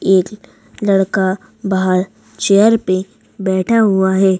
एक लड़का बाहर चेयर पे बैठा हुआ है।